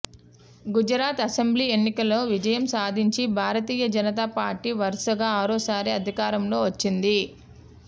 Gujarat assembly ఎన్నికల్లో విజయం సాధించి భారతీయ జనతా పార్టీ వరుసగా ఆరోసారి అధికారంలో వచ్చింది